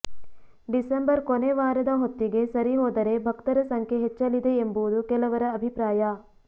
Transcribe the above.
December ಕೊನೆ ವಾರದ ಹೊತ್ತಿಗೆ ಸರಿಹೋದರೆ ಭಕ್ತರ ಸಂಖ್ಯೆ ಹೆಚ್ಚಲಿದೆ ಎಂಬುದು ಕೆಲವರ ಅಭಿಪ್ರಾಯ